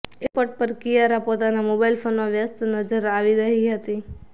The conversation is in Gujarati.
એરપોર્ટ પર કિયારા પોતાના મોબાઈલ ફોનમાં વ્યસ્ત નજર આવી હતી